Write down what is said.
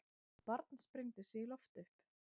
Barn sprengdi sig í loft upp